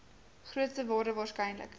grootste waarde waarskynlik